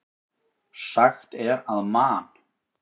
Sagt er að Man.